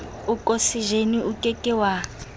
okosejene o ke ke wa